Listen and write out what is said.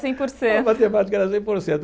Cem por cento. A matemática era cem por cento.